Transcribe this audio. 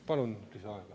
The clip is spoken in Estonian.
Palun lisaaega.